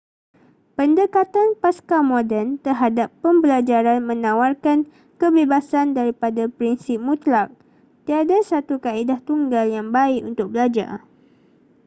pendekatan pascamoden terhadap pembelajaran menawarkan kebebasan daripada prinsip mutlak tiada satu kaedah tunggal yang baik untuk belajar